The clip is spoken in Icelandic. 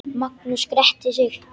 Magnús gretti sig.